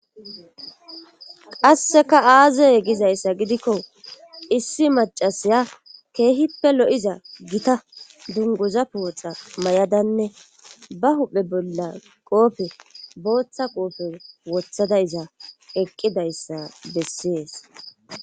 Qasseka aazey gizayssa gidikko issi macasiya keehippe lo7iza gita dunguza pooxa may7adanne ba huphe bolla qoofe booththa qoofe wothadayza eqqidayssa bessees